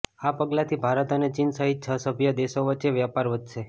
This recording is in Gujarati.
આ પગલાથી ભારત અને ચીન સહિત છ સભ્ય દેશો વચ્ચે વ્યાપાર વધશે